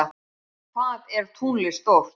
Hvað er tunglið stórt?